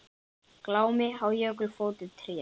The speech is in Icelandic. Glámu á jökli fótum treð.